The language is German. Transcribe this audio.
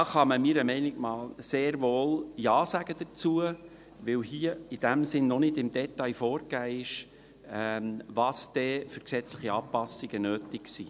Dazu kann man meines Erachtens sehr wohl Ja sagen, weil hier in diesem Sinne noch nicht im Detail vorgegeben ist, welche gesetzlichen Anpassungen dann notwendig sind.